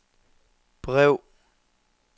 brev